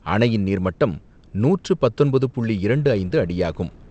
அணையின் நீர்மட்டம் நூற்று பத்தொன்பது புள்ளி இரண்டு ஐந்து அடியாகும்.